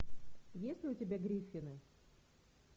есть ли у тебя гриффины